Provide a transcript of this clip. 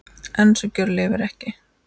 En sú gjörð lifir ekki.